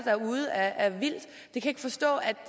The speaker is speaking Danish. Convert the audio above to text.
er derude af vildt jeg kan ikke forstå